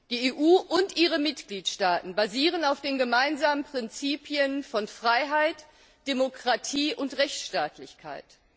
Die EU und ihre Mitgliedstaaten basieren auf den gemeinsamen Prinzipien von Freiheit, Demokratie und Rechtsstaatlichkeit.